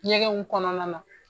Ɲɛgɛnw kɔnɔna na